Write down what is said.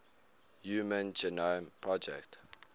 human genome project